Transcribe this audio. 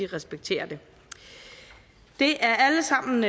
respekterer det det er alle sammen